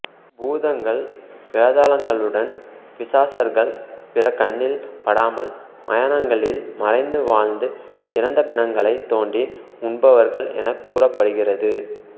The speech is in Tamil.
பூதங்கள் வேதாளங்களுடன் பிசாசர்கள் பிறர் கண்னில் படாமல் மயாணங்களில் மறைந்து வாழ்ந்து இறந்த பிணங்களை தோண்டி உண்பவர்கள் எனக் கூறப்படுகிறது